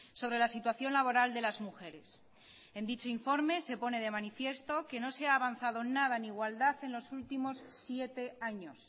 sobre la situación laboral de las mujeres en dicho informe se pone de manifiesto que no se ha avanzado nada en igualdad en los últimos siete años